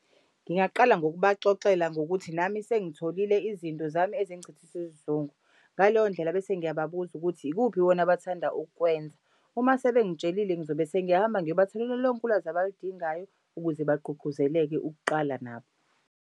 Ngingaqala ngokubaxoxela ngokuthi nami sengitholile izinto zami ezingichithisa isizungu. Ngaleyo ndlela bese ngiyababuza ukuthi ikuphi bona abathanda ukukwenza? Uma sebengitshelile ngizobe sengiyahamba ngiyobatholela lonke ulwazi abalidingayo ukuze bagqugquzeleke ukuqala nabo.